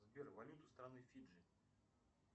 сбер валюта страны фиджи